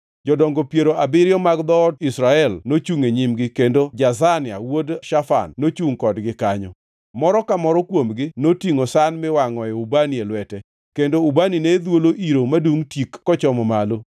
Jodongo piero abiriyo mag dhood Israel nochungʼ e nyimgi, kendo Jazania wuod Shafan nochungʼ kodgi kanyo. Moro ka moro kuomgi notingʼo san miwangʼe ubani e lwete, kendo ubani ne dhwolo iro madungʼ tik kochomo malo.